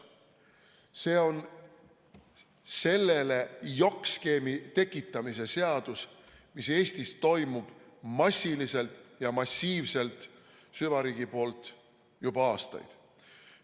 See on sellele jokk-skeemi tekitamise seadus, mis Eestis toimub massiliselt ja massiivselt süvariigi poolt juba aastaid.